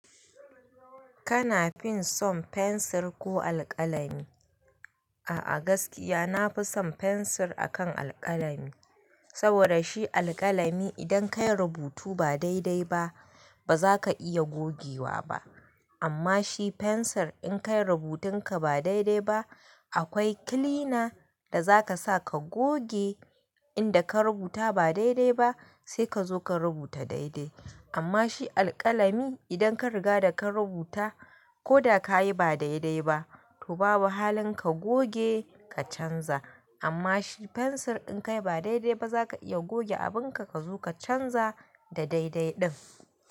Kana fin son fensir ko alkalami? A'a gaskiya nafi son fensir akan alkalami, saboda shi alkalami idan ka yi rubutu ba daidai ba, baza ka iya gogewa ba. Amma shi fensir in ka yi rubutun ka ba daidai ba, akwai kilina da zaka sa ka goge inda ka rubuta ba daidai ba sai ka zo ka rubuta daidai. Amma shi alkalami idan ka riga da ka rubuta ko da ka yi ba daidai ba, to babu halin ka goge ka canza. Amma shi fensir in ka yi ba daidai ba zaka iya goge abin ka, ka zo ka canza da daidai ɗin.